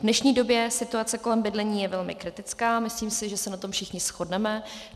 V dnešní době situace kolem bydlení je velmi kritická, myslím si, že se na tom všichni shodneme.